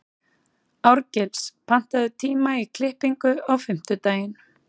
Árgils, pantaðu tíma í klippingu á fimmtudaginn.